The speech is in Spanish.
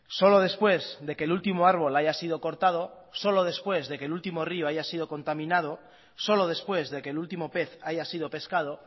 solo después de que el último árbol haya sido cortado solo después de que el último río haya sido contaminado solo después de que el último pez haya sido pescado